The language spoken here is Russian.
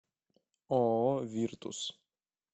ооо виртус